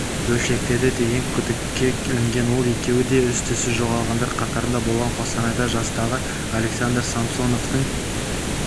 бөлшектеді деген күдікке ілінген ол екеуі де із-түссіз жоғалғандар қатарында болған қостанайда жастағы александр самсоновтың